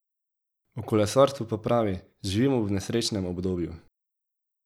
O kolesarstvu pa pravi: 'Živimo v nesrečnem obdobju.